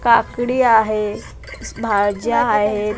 काकडी आहे भाज्या आहेत .